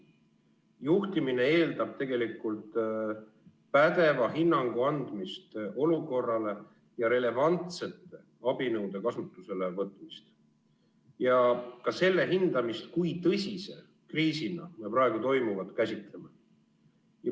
Juhtimine eeldab pädeva hinnangu andmist olukorrale ja relevantsete abinõude kasutusele võtmist ja ka selle hindamist, kui tõsise kriisina me praegu toimuvat käsitleme.